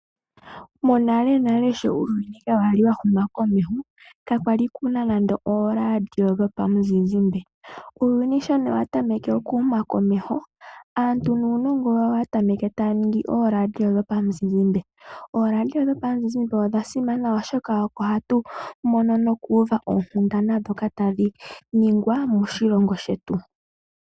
Monale nale shi uuyuni kakwali wa huma komeho kakwali kuna nande ooradio dhomuzizimbe nuuyuni shi wa humu komeho aanunongo oyatameke taa nduluka ooradio dhomizizimbe. Ooradio dhomuzizimbe odha simana oshoka oko hatu tala nokuuva oonkunda dhaashoka tashi nigwa moshilongo shetu.